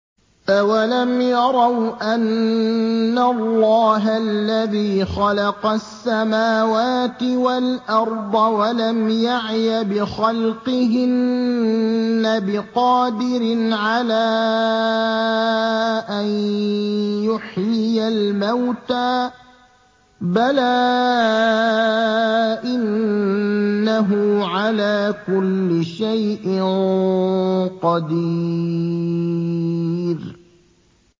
أَوَلَمْ يَرَوْا أَنَّ اللَّهَ الَّذِي خَلَقَ السَّمَاوَاتِ وَالْأَرْضَ وَلَمْ يَعْيَ بِخَلْقِهِنَّ بِقَادِرٍ عَلَىٰ أَن يُحْيِيَ الْمَوْتَىٰ ۚ بَلَىٰ إِنَّهُ عَلَىٰ كُلِّ شَيْءٍ قَدِيرٌ